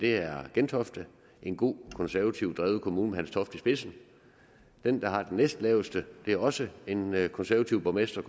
er gentofte en god konservativ kommune med hans toft i spidsen den der har den næstlaveste er også en med en konservativ borgmester